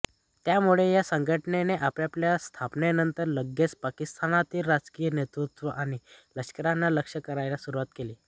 त्यामुळे या संघटनेने आपल्या स्थापनेनंतर लगेचच पाकिस्तानातील राजकीय नेतृत्व आणि लष्कराला लक्ष्य करायला सुरुवात केली